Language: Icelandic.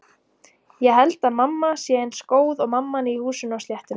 Ég held að mamma sé eins góð og mamman í Húsinu á sléttunni.